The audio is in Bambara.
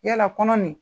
Yala kɔnɔ nin